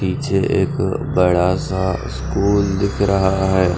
पीछे एक बड़ा सा स्कूल दिख रहा है।